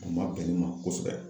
A ma bɛn ne ma kosɛbɛ.